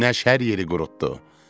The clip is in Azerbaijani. Günəş hər yeri qurutdu.